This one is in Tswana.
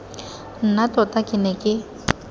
nna tota ke ne ke